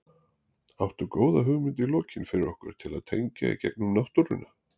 Áttu góða hugmynd í lokin fyrir okkur til að tengja í gegnum náttúruna?